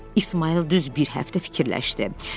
İsmayıl düz bir həftə fikirləşdi.